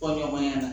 Kɔɲɔnmaya la